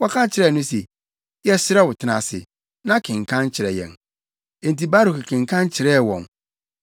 Wɔka kyerɛɛ no se, “Yɛsrɛ wo tena ase, na kenkan kyerɛ yɛn.” Enti Baruk kenkan kyerɛɛ wɔn.